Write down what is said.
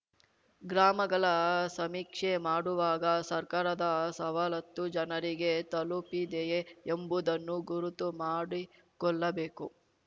ಗ್ರಾಮಗಳ ಸಮೀಕ್ಷೆ ಮಾಡುವಾಗ ಸರ್ಕಾರದ ಸವಲತ್ತು ಜನರಿಗೆ ತಲುಪಿದೆಯೇ ಎಂಬುದನ್ನು ಗುರುತು ಮಾಡಿಕೊಳ್ಳಬೇಕು